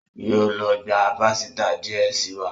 Yóó ló gbà pàsìta díẹ sí wá.